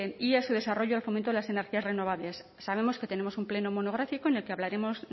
y a su desarrollo al fomento de las energías renovables sabemos que tenemos un pleno monográfico en el que hablaremos